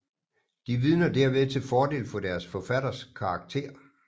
De vidner derved til fordel for deres forfatters karakter